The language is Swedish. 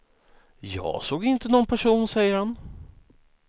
Jag såg inte någon person, säger han.